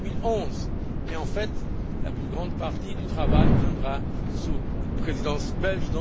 2011. Mais, en fait, la plus grande partie du travail se fera sous la présidence belge.